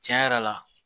Tiɲɛ yɛrɛ la